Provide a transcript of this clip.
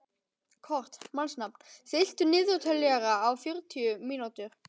Kort (mannsnafn), stilltu niðurteljara á fjörutíu mínútur.